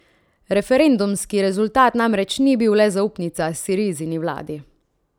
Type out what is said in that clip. Referendumski rezultat namreč ni bil le zaupnica Sirizini vladi.